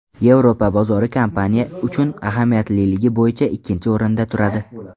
Yevropa bozori kompaniya uchun ahamiyatliligi bo‘yicha ikkinchi o‘rinda turadi.